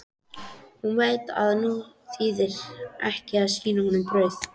Hún veit að nú þýðir ekki að sýna honum brauð.